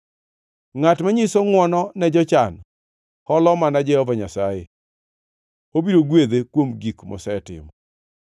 Ngʼat manyiso ngʼwono ne jochan, holo mana Jehova Nyasaye, obiro gwedhe kuom gik mosetimo.